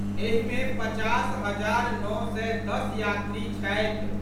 एहि मे पचास हजार नओ सय दस यात्री छथि।